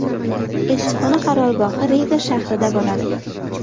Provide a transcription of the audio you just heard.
Elchixona qarorgohi Riga shahrida bo‘ladi.